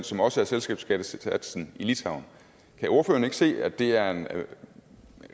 som også er selskabsskattesatsen i litauen kan ordføreren ikke se at det er en